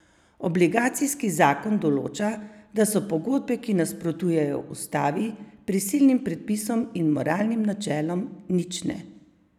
Obligacijski zakon določa, da so pogodbe, ki nasprotujejo ustavi, prisilnim predpisom in moralnim načelom, nične.